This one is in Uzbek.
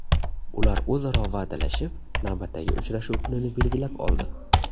Ular o‘zaro va’dalashib, navbatdagi uchrashuv kunini belgilab oldi.